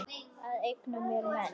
Ég eigna mér menn.